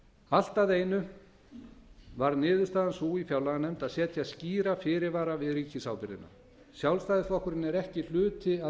allt að einu varð niðurstaðan sú í fjárlaganefnd að setja skýra fyrirvara við ríkisábyrgðina sjálfstæðisflokkurinn er ekki hluti af